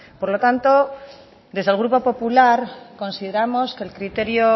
por lo tanto desde el grupo popular consideramos que el criterio